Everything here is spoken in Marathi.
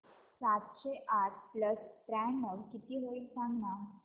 सातशे आठ प्लस त्र्याण्णव किती होईल सांगना